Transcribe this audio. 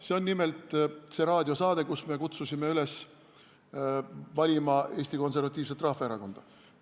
See on nimelt see raadiosaade, kus me kutsusime üles valima Eesti Konservatiivset Rahvaerakonda.